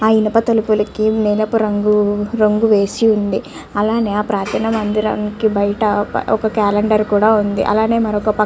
ఆ ఇనప తలుపులకి నీలపు రంగు వేసి ఉంది. అలాగే ఆ ప్రార్దన మందిరానికి బైట ఒక క్యాలెండరు కూడా ఉంది. అలాగే మరో పక్క --